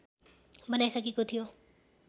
बनाइसकेको थियो